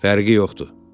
Fərqi yoxdur.